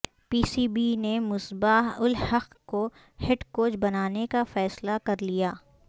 پی C B نے مصباح الحق کو head coach بنانے کا فیصلہ کر لیا